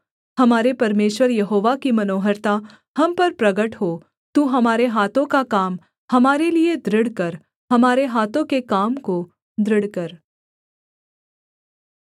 हमारे परमेश्वर यहोवा की मनोहरता हम पर प्रगट हो तू हमारे हाथों का काम हमारे लिये दृढ़ कर हमारे हाथों के काम को दृढ़ कर